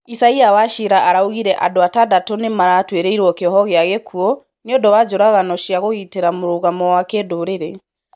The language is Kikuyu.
Isaia Wachira araugire andũ atandatũ nĩmaratũĩrĩirwo kĩoho kĩa gĩkũũ nĩũndũ wa njũragano cĩa kũgĩtĩra mũrũgamo wa kĩndũrĩrĩ